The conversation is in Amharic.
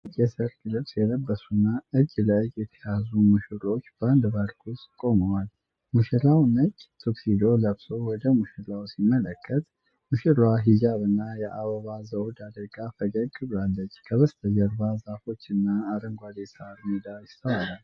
ነጭ የሰርግ ልብስ የለበሱና እጅ ለእጅ የተያያዙ ሙሽሮች በአንድ ፓርክ ውስጥ ቆመዋል። ሙሽራው ነጭ ቱክሲዶ ለብሶ ወደ ሙሽራዋ ሲመለከት፣ ሙሽራዋ ሂጃብና የአበባ ዘውድ አድርጋ ፈገግ ብላለች። ከበስተጀርባ ዛፎችና አረንጓዴ የሳር ሜዳ ይስተዋላል።